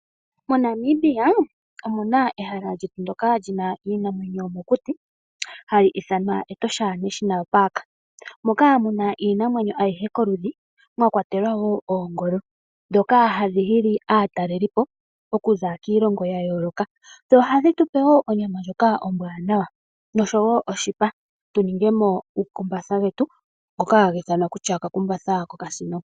MoNamibia omuna ehala ndoka lina iinamwenyo yomokuti hali ithanwa Etosha National Park, moka muna iinamwenyo ayihe koludhi mwakwatelwa woo oongolo dhoka hadhi hili aatalelipo okuza kiilongo yayooloka dho ohadhi tupe wo onyama ndjoka ombwaanawa no-showo oshipa tuningemo uukumbatha vetu ngoka hakathinwa kutya okakumbatha kokasino.